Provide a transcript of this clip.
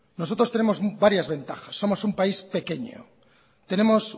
nosotros tenemos varias ventajas somos un país pequeño tenemos